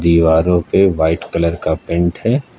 दीवारों पे white colour का पेंट है।